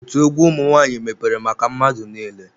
Otu egwu ụmụ nwaanyị mepere maka mmadụ niile.